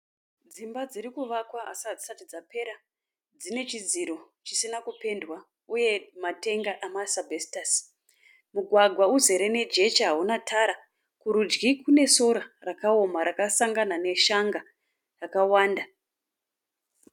Dzimba dzirikuvakwa asi hadzisati dzapera, dzine chidziro chisina kupendwa uye matenga ama asbestors. Mugwagwa uzere jecha hamuna tara, kurudyi kune sora rakaoma rakasangana neshanga rakawanda.